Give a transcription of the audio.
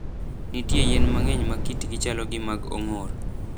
Nitie yien mang'eny ma kitgi chalo gi mag ong'or.